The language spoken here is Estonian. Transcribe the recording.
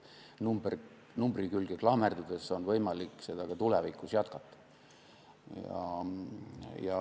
Numbri külge klammerdudes on võimalik seda ka tulevikus jätkata.